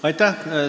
Aitäh!